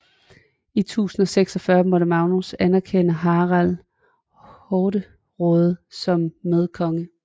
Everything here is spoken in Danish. I 1046 måtte Magnus anerkende Harald Hårderåde som medkonge